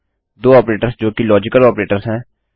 दो ऑपरेटर्स जो कि लाजिकल ऑपरेटर्स हैं